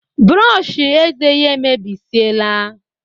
Brushi ézè yá emebesiela